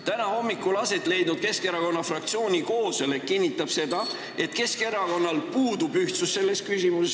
Täna hommikul aset leidnud Keskerakonna fraktsiooni koosolek kinnitas seda, et Keskerakonnas puudub ühtsus selles küsimuses.